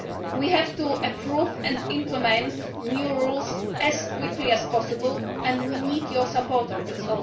We have to approve and implement new rules as quickly as possible and we need your support on this.